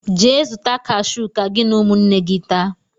Jee zuta kashu ka gị na ụmụnne gị taa!